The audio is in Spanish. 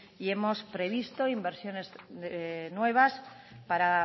y hemos previsto inversiones nuevas para